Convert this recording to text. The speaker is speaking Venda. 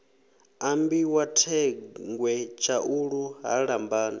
ambiwa thengwe tshaulu ha lambani